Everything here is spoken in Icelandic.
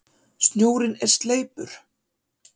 Snjórinn er sleipur!